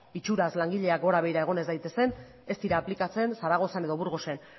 itxuraz langileak gora begira egon ez daitezen ez dira aplikatzen zaragozan edo burgosen